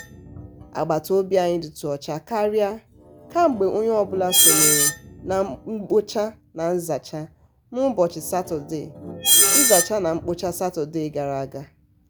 agbataobi anyị dị tú ọcha karịa kemgbe onye ọbụla sonyeere na mkpocha na nzacha n'ụbọchị satọdee nzacha n'ụbọchị satọdee gara aga.